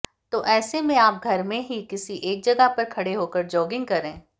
तो ऐसे में आप घर में ही किसी एक जगह खड़े होकर जॉगिंग करें